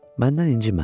Məndən incimə.